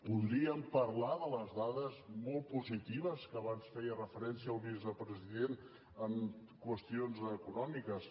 podríem parlar de les dades molt positives que abans hi feia referència el vicepresident en qüestions econòmiques